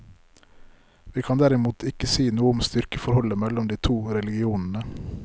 Vi kan derimot ikke si noe om styrkeforholdet mellom de to religionene.